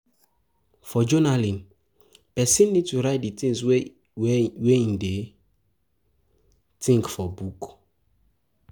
For journaling, person need to write di things wey im dey think for book